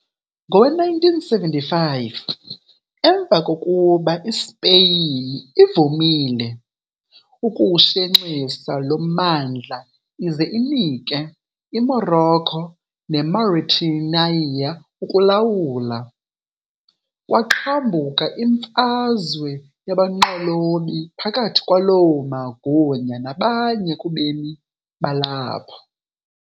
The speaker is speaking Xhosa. Ngowe-1975, emva kokuba iSpeyin ivumile ukuwushenxisa lo mmandla ize inike iMorocco neMauritania ukulawula, kwaqhambuka imfazwe yabanqolobi phakathi kwaloo magunya nabanye kubemi balapho.